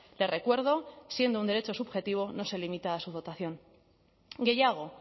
le recuerdo siendo un derecho subjetivo no se limita a su dotación gehiago